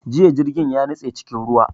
Jiya jirgin ya nitse cikin ruwa